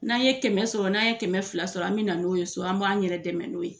N'an ye kɛmɛ sɔrɔ n'an ye kɛmɛ fila sɔrɔ, an bɛ na n'o ye so, an b'an yɛrɛ dɛmɛ n'o ye.